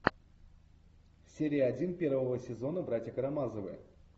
серия один первого сезона братья карамазовы